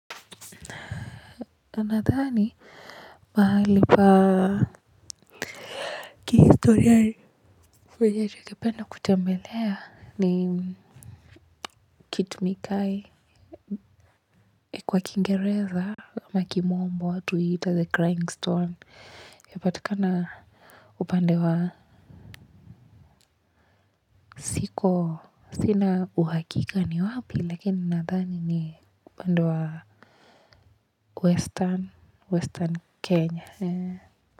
Nadhani, mahali pa kihistoria penye ningependa kutembelea ni kitumikai kwa kingereza, ama kimombo watu huiita the crying stone. Yapatikana upande wa siko sina uhakika ni wapi lakini nadhani ni upande wa western Kenya.